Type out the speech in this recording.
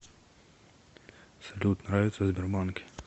салют нравится в сбербанке